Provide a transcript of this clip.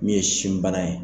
Min ye sinbana ye.